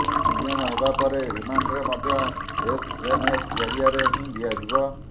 premium ହେବା ପରେ reminder ମଧ୍ୟ ଏସଏମଏସ୍ ଜରିଆରେ ହିଁ ଦିଆଯିବ